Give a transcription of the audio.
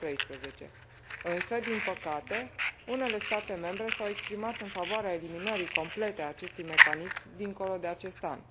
2013. Însă, din păcate, unele state membre s au exprimat în favoarea eliminării complete a acestui mecanism dincolo de acest an.